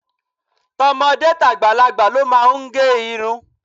To̩mo̩dé tàgbàlagbà ló máa ń ge̩ irun.